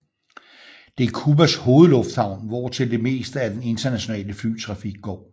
Det er Cubas hovedlufthavn hvortil det meste af den internationale flytrafik går